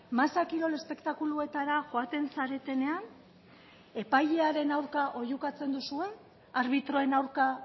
masa kirol espektakuluetara joaten zaretenean epailearen aurka oihukatzen duzue arbitroen aurka